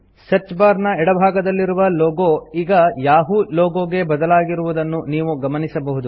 search bar ನ ಎಡಭಾಗದಲ್ಲಿರುವ logo ಈಗ ಯಹೂ ಲೋಗೊ ಗೆ ಬದಲಾಗಿರುವುದನ್ನು ನಾವು ಗಮನಿಸಬಹುದು